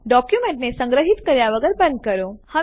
ડોક્યુમેન્ટને સંગ્રહિત કર્યા વગર બંધ કરો